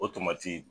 O tamati